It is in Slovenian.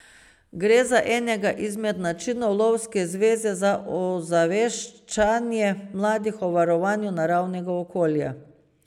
Gre za enega izmed načinov lovske zveze za ozaveščanje mladih o varovanju naravnega okolja.